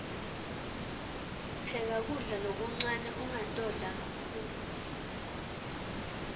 pheka kudla lokuncane ungatodla kakhulu